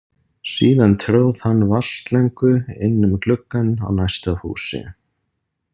Síðan tróð hann vatnsslöngu inn um gluggann á næsta húsi.